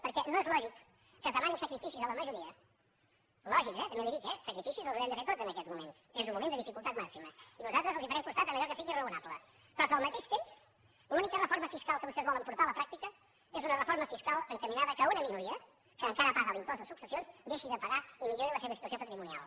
perquè no és lògic que es demanin sacrificis a la majoria lògics eh també li ho dic sacrificis els haurem de fer tots en aquests moments és un moment de dificultat màxima i nosaltres els farem costat en allò que sigui raonable però que al mateix temps l’única reforma fiscal que vostès volen portar a la pràctica sigui una reforma fiscal encaminada al fet que una minoria que encara paga l’impost de successions deixi de pagar i millori la seva situació patrimonial